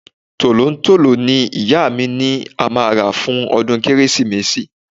Tolontolo ni ìyá mi ni a máa rà fún ọdún Kérésìmesì.